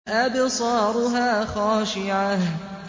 أَبْصَارُهَا خَاشِعَةٌ